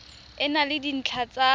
e na le dintlha tsa